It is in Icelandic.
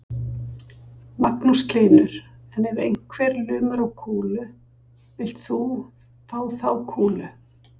Magnús Hlynur: En ef einhver lumar á kúlu, villt þú fá þá kúlu?